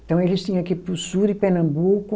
Então, eles tinha que ir para o sul de Pernambuco,